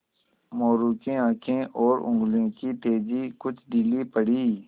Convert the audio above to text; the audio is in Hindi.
मोरू की आँखें और उंगलियों की तेज़ी कुछ ढीली पड़ी